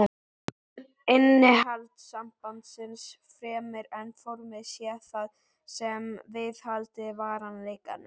Innihald sambandsins, fremur en formið sé það sem viðhaldi varanleikanum.